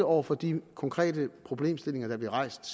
over for de konkrete problemstillinger der bliver rejst